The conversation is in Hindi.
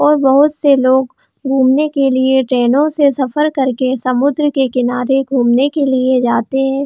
और बहोत से लोग घूमने के लिए ट्रैन से सफर करके समुद्र के किनारे घूमने जाते है।